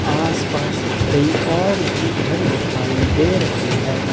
आसपास कई और भी घर दिखाई दे रहे हैं।